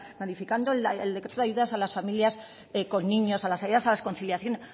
modificando el decreto de ayudas a las familias con niños a las ayudas a las conciliaciones